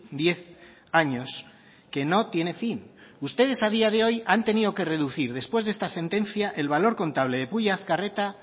diez años que no tiene fin ustedes a día de hoy han tenido que reducir después de esta sentencia el valor contable de pulla azkarreta